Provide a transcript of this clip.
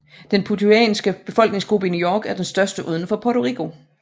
Den puertoricanske befolkningsgruppe i New York er den største uden for Puerto Rico